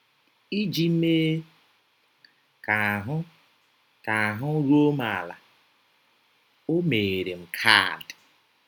Iji mee ka ahụ́ ka ahụ́ rụọ m ala, ọ meere m kaadị.